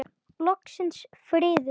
Loksins friður!